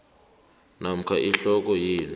namkha ihloko yelu